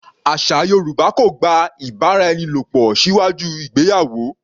Àṣà Yorùbá kò gba ìbáraẹnilòpò síwájú ìgbéyàwó.